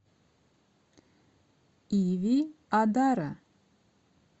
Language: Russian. иви адара